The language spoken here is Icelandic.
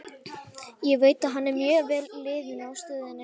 Ég veit að hann er mjög vel liðinn á stöðinni.